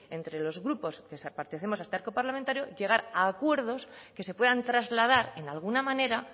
entre los grupos que pertenecemos a este arco parlamentario llegar a acuerdos que se puedan trasladar en alguna manera